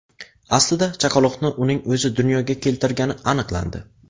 Aslida chaqaloqni uning o‘zi dunyoga keltirgani aniqlandi.